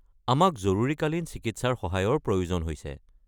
আমাক জৰুৰীকালীন চিকিৎসাৰ সহায়ৰ প্ৰয়োজন হৈছে।